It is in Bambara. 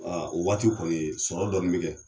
Aa o waati kɔni sɔrɔ dɔɔnin bɛ kɛ